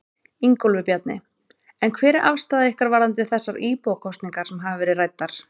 Ingólfur Bjarni: En hver er afstaða ykkar varðandi þessar íbúakosningar sem hafa verið ræddar?